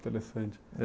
Interessante.